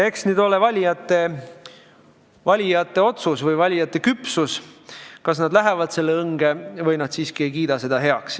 Eks me nüüd näe valijate küpsust – kas nad lähevad selle õnge või nad siiski ei kiida seda heaks.